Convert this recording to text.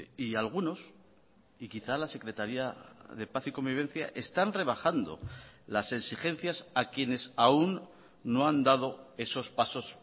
y algunos y quizá la secretaría de paz y convivencia están rebajando las exigencias a quienes aún no han dado esos pasos